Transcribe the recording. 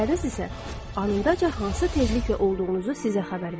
Hissləriniz isə anındaca hansı tezlikdə olduğunuzu sizə xəbər verir.